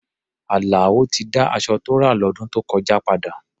Àlàó ti dá aṣọ tó rà lọ́dún tó kọjá padà.